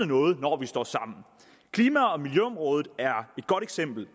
noget når vi står sammen klima og miljøområdet er et godt eksempel